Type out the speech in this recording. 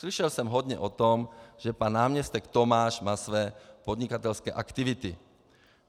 Slyšel jsem hodně o tom, že pan náměstek Tomáš má své podnikatelské aktivity.